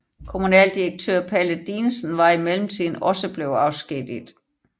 Kommunaldirektør Palle Dinesen var i mellemtiden også blevet afskediget